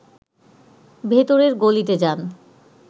ভেতরের গলিতে যান